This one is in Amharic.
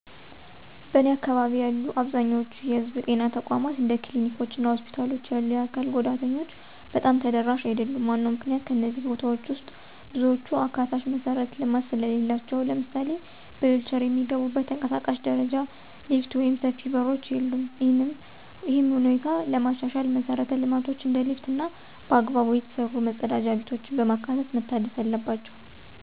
በእኔ አካባቢ ያሉ አብዛኛዎቹ የህዝብ ጤና ተቋማት እንደ ክሊኒኮች እና ሆስፒታሎች ያሉ የአካል ጉዳተኞች በጣም ተደራሽ አይደሉም። ዋናው ምክንያት ከእነዚህ ቦታዎች ውስጥ ብዙዎቹ አካታች መሠረተ ልማት ስለሌላቸው። ለምሳሌ በዊልቼር የሚገቡበት ተንቀሳቃሽ ደረጃ፣ ሊፍት ወይም ሰፊ በሮች የሉም። ይህንን ሁኔታ ለማሻሻል መሰረተ ልማቶችን እንደ ሊፍት እና በአግባቡ የተሰሩ መጸዳጃ ቤቶችን በማካተት መታደስ አለባቸው።